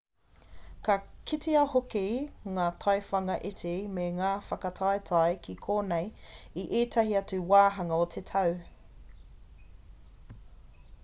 ka kitea hoki ngā taiwhanga iti me ngā whakataetae ki konei i ētahi atu wāhanga o te tau